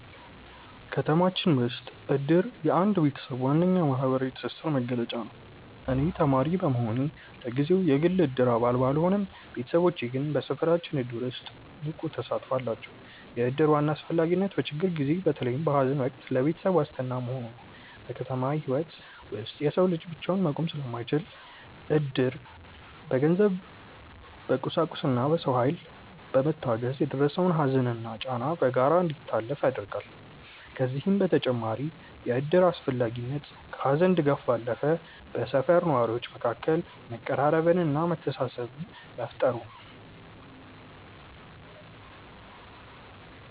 ከተማችን ውስጥ እድር የአንድ ቤተሰብ ዋነኛ የማህበራዊ ትስስር መገለጫ ነው። እኔ ተማሪ በመሆኔ ለጊዜው የግል የእድር አባል ባልሆንም፣ ቤተሰቦቼ ግን በሰፈራችን እድር ውስጥ ንቁ ተሳትፎ አላቸው። የእድር ዋና አስፈላጊነት በችግር ጊዜ፣ በተለይም በሐዘን ወቅት ለቤተሰብ ዋስትና መሆኑ ነው። በከተማ ህይወት ውስጥ የሰው ልጅ ብቻውን መቆም ስለማይችል፣ እድር በገንዘብ፣ በቁሳቁስና በሰው ኃይል በመታገዝ የደረሰውን ሐዘንና ጫና በጋራ እንዲታለፍ ያደርጋል። ከዚህም በተጨማሪ የእድር አስፈላጊነት ከሐዘን ድጋፍ ባለፈ በሰፈር ነዋሪዎች መካከል መቀራረብንና መተሳሰብን መፍጠሩ ነው።